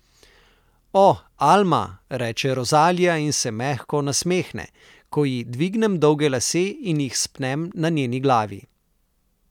O, Alma, reče Rozalija in se mehko nasmehne, ko ji dvignem dolge lase in jih spnem na njeni glavi.